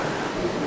Xeyir olsun.